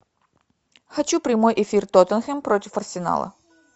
хочу прямой эфир тоттенхэм против арсенала